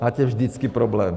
Máte vždycky problém.